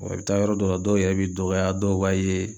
i bɛ taa yɔrɔ dɔw la dɔw yɛrɛ b'i dɔgɔya dɔw b'a ye